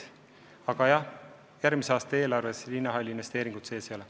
Aga jah, järgmise aasta eelarves linnahalli investeeringut sees ei ole.